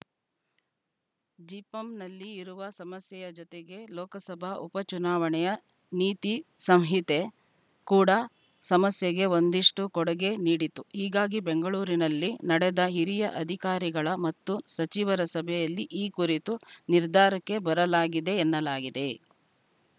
ಜಿಪಂ ನಲ್ಲಿ ಇರುವ ಸಮಸ್ಯೆಯ ಜೊತೆಗೆ ಲೋಕಸಭಾ ಉಪ ಚುನಾವಣೆಯ ನೀತಿ ಸಂಹಿತೆ ಕೂಡ ಸಮಸ್ಯೆಗೆ ಒಂದಿಷ್ಟುಕೊಡುಗೆ ನೀಡಿತು ಹೀಗಾಗಿ ಬೆಂಗಳೂರಿನಲ್ಲಿ ನಡೆದ ಹಿರಿಯ ಅಧಿಕಾರಿಗಳ ಮತ್ತು ಸಚಿವರ ಸಭೆಯಲ್ಲಿ ಈ ಕುರಿತು ನಿರ್ಧಾರಕ್ಕೆ ಬರಲಾಗಿದೆ ಎನ್ನಲಾಗಿದೆ